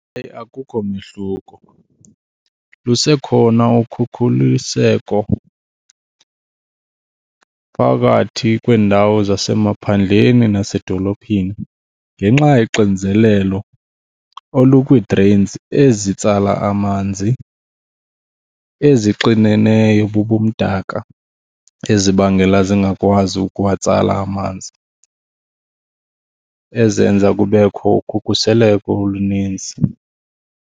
Akukho mehluko. Lisekhona ukhukhuliseko phakathi kwiindawo zasemaphandleni nasedolophini ngenxa yoxinzelelo olukwii-drains ezitsala amanzi ezixineneyo bubumdaka ezibangela zingakwazi ukuwatsala amanzi, ezenza kubekho ukhukhuseleko olunintsi.